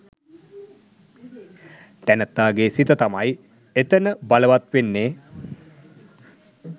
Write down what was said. තැනැත්තාගේ සිත තමයි එතන බලවත් වෙන්නේ.